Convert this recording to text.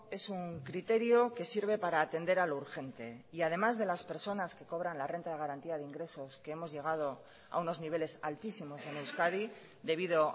es un criterio que sirve para atender a lo urgente y además de las personas que cobran la renta de garantía de ingresos que hemos llegado a unos niveles altísimos en euskadi debido